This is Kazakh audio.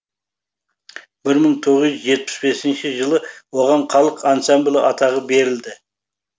бір мың тоғыз жүз жетпіс бесінші жылы оған халық ансамблі атағы берілді